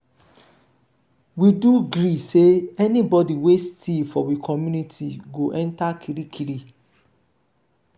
we do gree sey anybody wey steal for we community go enta kirikiri.